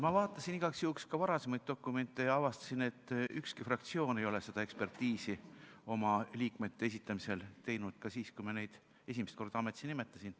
Ma vaatasin igaks juhuks ka varasemaid dokumente ja avastasin, et ükski fraktsioon ei ole seda ekspertiisi oma liikmete esitamisel teinud ka siis, kui me neid esimest korda ametisse nimetasime.